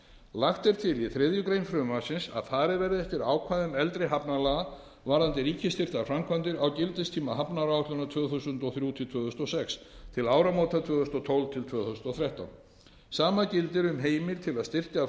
lagt er til í þriðju greinar frumvarpsins að farið verði eftir ákvæðum eldri hafnalaga varðandi ríkisstyrktar framkvæmdir á gildistíma hafnaáætlunar tvö þúsund og þrjú til tvö þúsund og sex til áramóta tvö þúsund og tólf tvö þúsund og þrettán sama gildir um heimild til að styrkja framkvæmdir